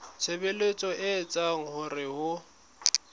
tshebetso e etsang hore ho